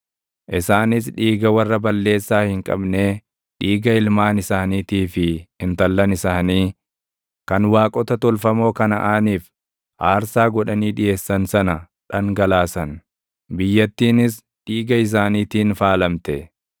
Isaanis dhiiga warra balleessaa hin qabnee, dhiiga ilmaan isaaniitii fi intallan isaanii, kan waaqota tolfamoo Kanaʼaaniif aarsaa godhanii dhiʼeessan sana dhangalaasan; biyyattiinis dhiiga isaaniitiin faalamte.